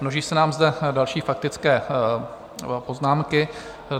Množí se nám zde další faktické poznámky.